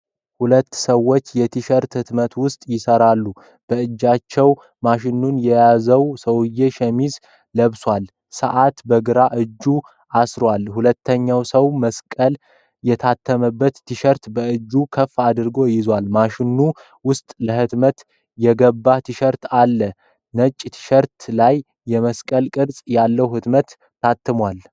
ሁለት ሰዎች የቲሸርት ህትመት ዉስጥ ይሰራሉ። በእጆቹ ማሽኑን የያዘዉ ሰዉዬ ሸሚዝ ለብሷል። ሸዓት በግራ አጁ አስሯል። ሁለተኛዉ ሰዉ መስቀል የታተመበት ቲሸርት በእጆቹ ከፍ አድርጎ ይዟል። ማሽኑ ዉስጥ ለህትመት የገባ ቲሸርት አለ። ነጭ ቲሸርት ላይ የመስቀል ቅርፅ ያለዉ ህትመት ታትሟል።